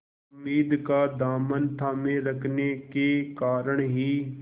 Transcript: उम्मीद का दामन थामे रखने के कारण ही